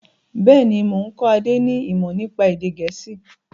Bẹ́ẹ̀ni, mo ń kọ́ Adé ni imọ nípa èdè gẹ̀ẹ́sì.